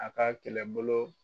A ka kɛlɛ bolo